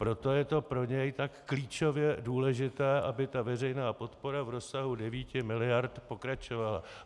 Proto je to pro něj tak klíčově důležité, aby ta veřejná podpora v rozsahu 9 miliard pokračovala.